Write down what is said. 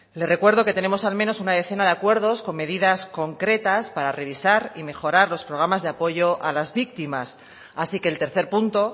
le recuerdo que tenemos al menos una decena de acuerdos con medidas concretas para revisar y mejorar los programas de apoyo a las víctimas así que el tercer punto